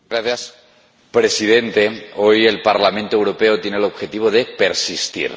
Señor Presidente, hoy el Parlamento Europeo tiene el objetivo de persistir.